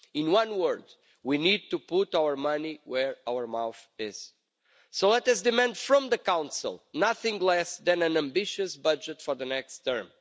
In one word, we need to put our money where our mouth is. So let us demand from the Council nothing less than an ambitious budget for the next term.